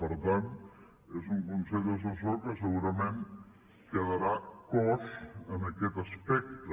per tant és un consell assessor que segurament quedarà coix en aquest aspecte